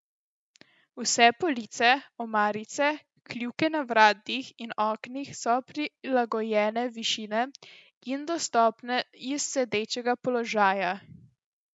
Vse police, omarice, kljuke na vratih in oknih so prilagojene višine in dostopne iz sedečega položaja.